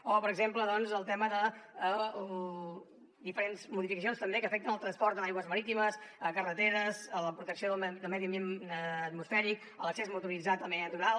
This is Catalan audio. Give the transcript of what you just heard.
o per exemple doncs el tema de les diferents modificacions també que afecten el transport en aigües marítimes carreteres la protecció del medi ambient atmosfèric l’accés motoritzat al medi natural